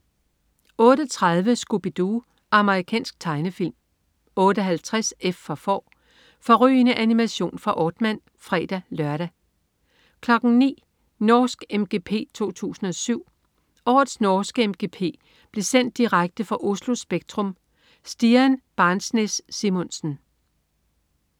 08.30 Scooby Doo. Amerikansk tegnefilm 08.50 F for Får. Fårrygende animation fra Aardman (fre-lør) 09.00 Norsk MGP 2007. Årets norske MGP blev sendt direkte fra Oslo Spektrum. Stian Barnsnes-Simonsen